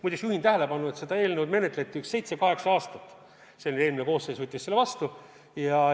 Muide, juhin tähelepanu, et seda eelnõu menetleti seitse-kaheksa aastat ja eelmine koosseis võttis selle vastu.